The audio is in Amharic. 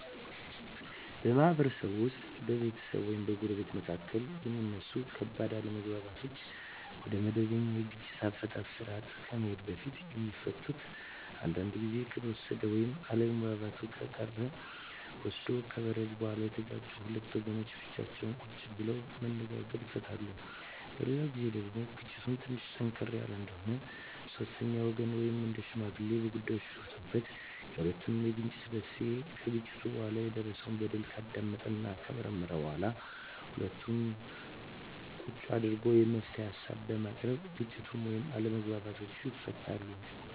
በማህበረሰብ ውስጥ በቤተሰብ ወይም በጎረቤቶች መካከል የሚነሱ ከባድ አለመግባባቶች ወደመበኛ የግጭት አፈታት ስርአት ከመሄዱ በፊት የሚፈቱት አንዳንዱ ግዜ ከተወሰደ ወይም አለመግባባቱ ቀን ወስዶ ከበረደ በኋላ የተጋጩት ሁለት ወገኖች ብቻቸውን ቁጭ ብለው በመነጋገር ይፈቱታል። በሌላ ግዜ ደግሞ ግጭቱ ትንሽ ጠንከር ያለ እንደሆነ ሶስተኛ ወገን ወይም ሽማግሌ በጉዳይዮ ገብቶበት የሁለቱንም የግጭት መንሴና ከግጭቱ በኋላ የደረሰው በደል ካዳመጠና ከመረመረ በኋላ ሁለቱንም አንድላ ቁጭ አድርጎ የመፍትሄ ሀሳቦችን በማቅረብ ግጭቱን ወይም አለመግባባቱን ይፈታል።